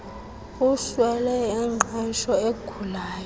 uswele ingqesho ugulayo